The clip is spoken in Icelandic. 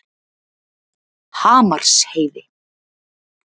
Hamarsheiði